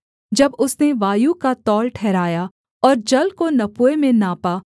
जब उसने वायु का तौल ठहराया और जल को नपुए में नापा